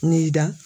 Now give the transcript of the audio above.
N'i da